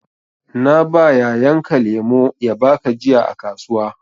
Na ba yayan ka lemu ya baka jiya a kasuwa.